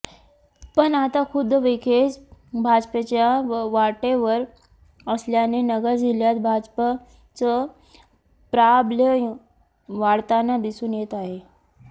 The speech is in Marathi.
पण आता खुद्द विखेच भाजपच्या वाटेवर असल्याने नगर जिल्ह्यात भाजपचं प्राबल्य वाढताना दिसून येत आहे